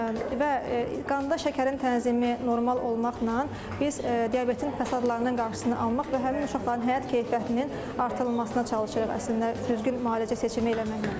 Və qanda şəkərin tənzimi normal olmaqla biz diabetin fəsadlarının qarşısını almaq və həmin uşaqların həyat keyfiyyətinin artırılmasına çalışırıq, əslində düzgün müalicə seçimi eləməklə.